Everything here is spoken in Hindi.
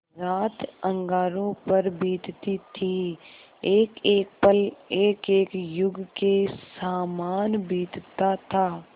रात अंगारों पर बीतती थी एकएक पल एकएक युग के सामान बीतता था